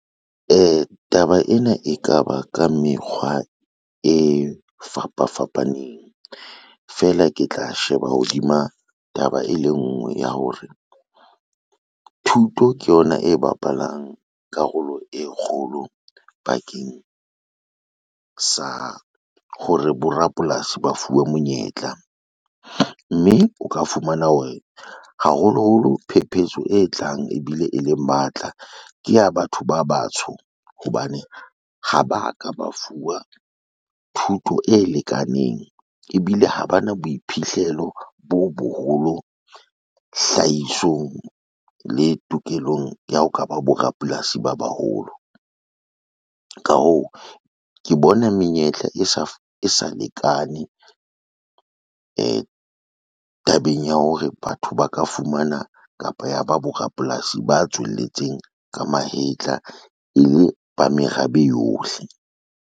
Taba ena e ka ba ka mekgwa e fapafapaneng, feela ke tla sheba hodima taba e le nngwe ya hore, thuto ke yona e bapalang karolo e kgolo bakeng sa hore borapolasi ba fuwe monyetla, mme o ka fumana hore haholoholo phepetso e tlang ebile e le matla ke ya batho ba batsho, hobane ha ba ka ba fuwa thuto e lekaneng ebile ha ba na boiphihlelo bo boholo hlahisong le tokelong ya ho ka ba bo rapolasi ba baholo. Ka hoo, ke bona menyetla e sa lekane tabeng ya hore batho ba ka fumana kapa ya ba borapolasi ba tswelletseng ka mahetla e le ba merabe yohle.